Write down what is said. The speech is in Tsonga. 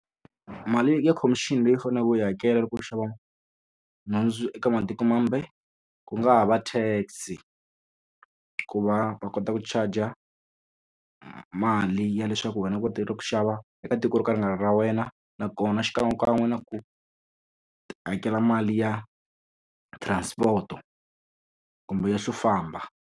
Mali ya khomixini leyi faneleke u yi hakela loko u xava nhundzu eka matiko mambe, ku nga ha va TAX-i. Ku va va kota ku charge-a mali ya leswaku wena u kotille ku xava eka tiko ro ka ri nga ra wena, nakona xikan'wekan'we na ku hakela mali ya transport-o kumbe ya xo famba.